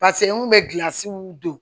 pase n kun be gilansiw don